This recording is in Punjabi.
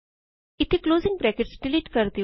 ਇਥੇ ਕਲੋਜ਼ਿੰਗ ਬਰੈਕਟਸ ਡਿਲੀਟ ਕਰ ਦਿਉ